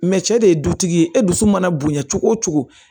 Mɛ cɛ de ye dutigi ye e dusu mana bonya cogo o cogo